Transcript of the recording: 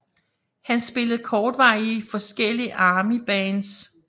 Han spillede kortvarigt i forskellige Armybands